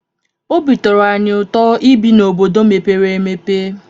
Obi tọrọ anyị ụtọ ibi n'obodo mepere emepe.